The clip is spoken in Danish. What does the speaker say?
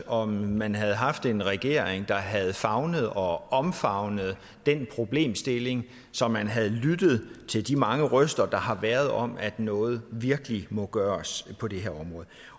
om man havde haft en regering der havde favnet og omfavnet den problemstilling så man havde lyttet til de mange røster der har været om at noget virkelig må gøres på det her område